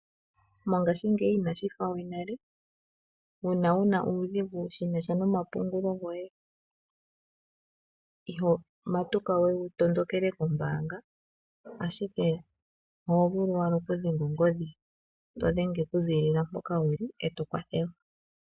Mongaashingeyi inashi fa we nale, uuna wuna uudhigu shinasha no mapungulo goye, iho matuka we wu tondokele kombaanga, ashike oho vulu owala oku dhenga ongodhi, to dhenge oku ziilila mpoka wuli eto kwathelwa.